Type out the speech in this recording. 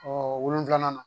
Ɔ wolonfila na